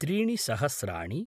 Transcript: त्रीणि सहस्राणि